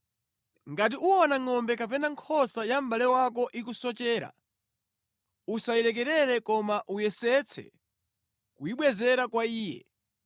Ngati uwona ngʼombe kapena nkhosa ya mʼbale wako ikusochera, usayilekerere koma uyesetse kuyibwezera kwa iye.